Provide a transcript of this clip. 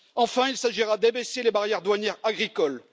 Enfin, il s'agira d'abaisser les barrières douanières agricoles.